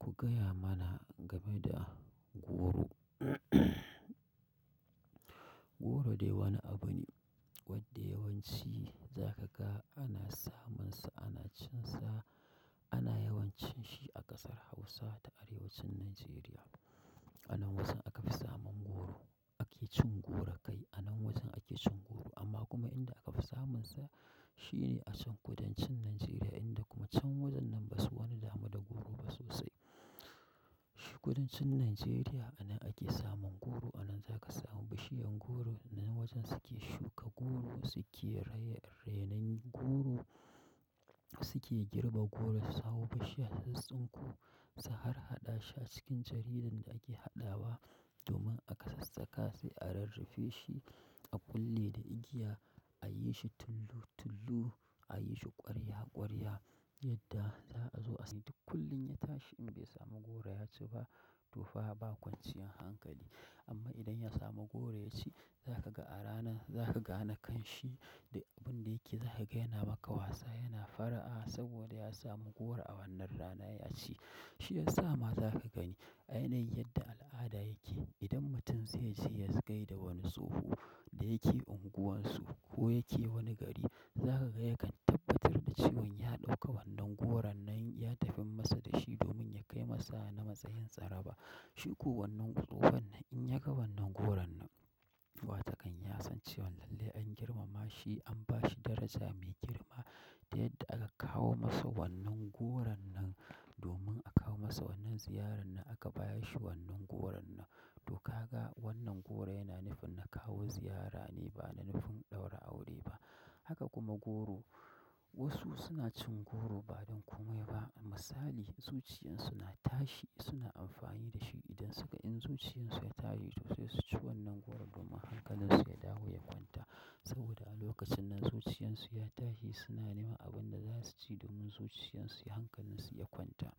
Ku gaya mana game da goro. Goro dai wani abu ne wadda yawanci zaka ga ana samunsa, ana cinsa, ana yawan cin shi a ƙasar Hausa da arewacin Nijeriya. Anan wajen aka fi samun goro, ake cin goro kai anan wajen ake cin goro. Amma kuma inda aka fi samunsa shine a can kudancin Nijeriya, inda kuma can wajen nan ba su wani damu da goro ba sosai. Shi kudancin Nijeriya anan ake samun goro, anan zaka samu bishiyan goro, nan wajen suke shuka goro, suke re renon goro, suke girbe goro, suhau bishiya su tsun ku, su har haɗa shi a cikin jaridan da ake haɗawa domin aka sassaka sai a rurrufe shi a kulle da igiya, a yi shi tulu tulu, a yi shi ƙwarya ƙwarya yadda za a zo a sai duk kullum ya tashi in bai samu goro ya ci ba to fa ba kwanciyan hankali. Amma idan ya samu goro ya ci zaka ga a rana zaka gane ƙanshi duk abun da yake zaka ga yana maka wasa, yana fara'a saboda ya samu goro a wannan rana ya ci. Shi yasa ma zaka gani a yanayin yadda al'ada yake idan mutum zai je ya gai da wani tsoho da yake unguwansu ko yake wani gari, zaka ga ya kan tabbatar da cewan ya ɗauka wannan goron nan ya tafi masa da shi domin ya kai masa na matsayin tsara ba. Shi ko wannan tsohon nan in ya ga wannan goron nan wa takan ya san cewan lallai an girmama shi, an ba shi daraja mai girma yadda aka kawo masa wannan goron nan domin a kawo masa wannan ziyarar nan aka baya shi wannan goron nan. To ka ga wannan goro yana nufin na kawo ziyara ne ba na nufin ɗaura aure ba. Haka kuma goro wasu suna cin goro ba don kome ba. Misali, zuciyarsu na tashi suna amfani da shi idan suka in zuciyarsu ya tashi to sai su ci wannan goron domin hankalinsu ya dawo ya kwanta. Saboda a lokacin nan zuciyansu ya tashi suna neman abin da za su ci domin zuciyansu hankalinsu ya kwanta.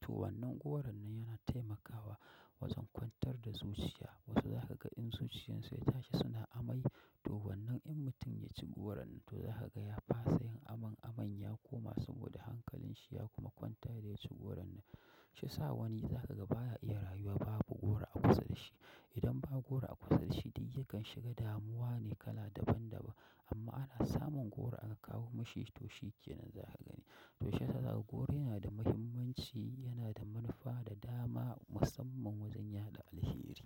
To wannan goron nan yana taimakawa wajen kwantar da zuciya. Wasu zaka ga in zuciyarsu ya tashi suna amai to wannan in mutum ya ci goron nan to zaka ga ya fasayin aman aman ya koma saboda hankalinshi ya kuma kwanta idan ya ci goron nan. Shi sa wani zaka ga baya iya rayuwa babu goro a kusa da shi. Idan ba goro a kusa dashi du yakan shiga damuwa ne kala daban da ban amma ana samun goro aka kawo mashi to shi kenan zaka gani. To shi yasa za kuga goro yana da muhimmanci, yana da manufa da dama musamman wajen yaɗa alheri.